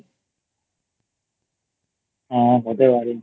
হ্যাঁ হতে পারে